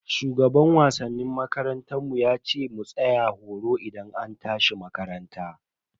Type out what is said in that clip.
Shugaban wasannin makarantar mu yace mu tsaya horo idan an tashi makaranta.